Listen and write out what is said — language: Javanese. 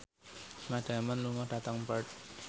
Matt Damon lunga dhateng Perth